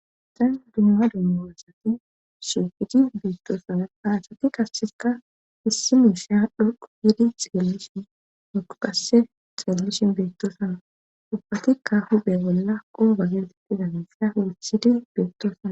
xam dumma dumboasati shiuqidi beettoosana haasati kasseka issi miisha dhuqu yidi xeellishin duqupasse xeellishin beettoosana dhubbatikka hubhe bolla quba getittiza meisa urisidi beettoosana